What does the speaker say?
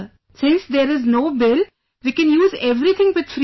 Since, there is no bill, we can use everything with free mind